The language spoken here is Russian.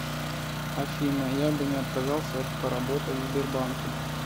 афина я бы не отказался поработать в сбербанке